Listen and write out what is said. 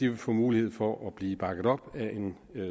vil få mulighed for at blive bakket op af en